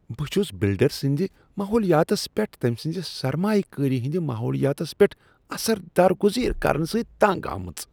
بہٕ چھس بلڈر سنٛد ماحولِیاتس پیٹھ تمۍ سٕنٛزِ سرمایہ کٲری ہنٛد ماحولِیاتس پیٹھ اثر درگٗزیر كرنہٕ سۭتۍ تنٛگ گژھان۔